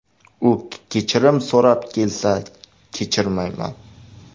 U kechirim so‘rab kelsa, kechirmayman.